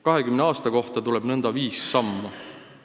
20 aasta kohta tuleb nõnda viis sammu.